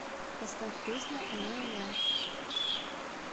поставь песню олэ олэ